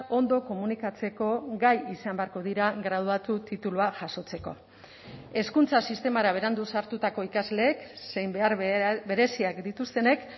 ondo komunikatzeko gai izan beharko dira graduatu titulua jasotzeko hezkuntza sistemara berandu sartutako ikasleek zein behar bereziak dituztenek